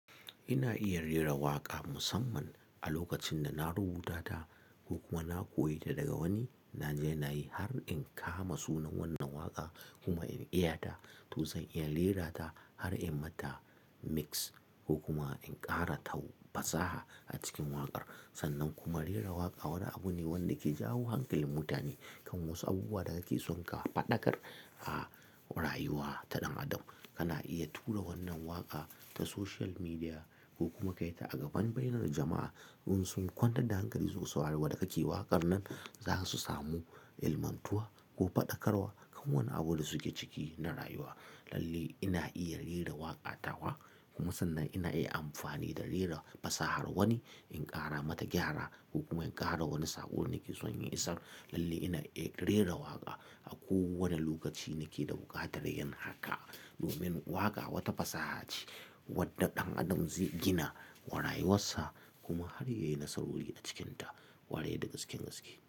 Ina iya rera waƙa musamman a lokacin da na rubuta ta ko kuma na koyi ta daga wani. Na daina yi har in kama sunan wannan waƙa kuma in iya ta, to zan iya rera ta har in mata mix ko kuma in ƙara ta fasaha a cikin waƙar. Sannan kuma rera waƙa wani abu ne wanda ke jawo hankalin mutane kan wasu abubuwa da kake son ka faɗakar a rayuwa ta ɗan adam. Kana iya tura wannan waƙa ta social media ko kuma kai ta a gaban bainar jama'a don su kwantar da hankali suku sa wadda kake waƙar nan. Zasu samu ilmantuwa ko faɗakarwa kan wani abu da suke ciki na rayuwa. Lalle ina iya rera waƙa tawa kuma sannan ina iya amfani da rera fasahar wani in ƙara mata gyara ko kuma in ƙara wani saƙo nake son yin isar. Lalle ina iya rera waƙa a kowane lokaci nake da buƙatar yin haka. Domin waƙa wata fasaha ce wadda ɗan adam zai gina rayuwarsa kuma har yayi nasarori a cikinta ware da gaske gaske.